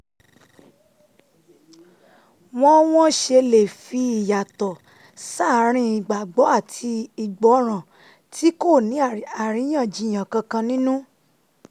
wọ́n wọ́n ṣe lè fi ìyàtọ̀ sáàárín ìgbàgbọ́ àti ìgbọràn tí kò ní àríyànjiyàn kankan nínú